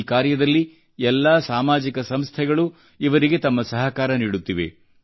ಈ ಕಾರ್ಯದಲ್ಲಿ ಎಲ್ಲಾ ಸಾಮಾಜಿಕ ಸಂಸ್ಥೆಗಳು ಇವರಿಗೆ ತಮ್ಮ ಸಹಕಾರ ನೀಡುತ್ತಿವೆ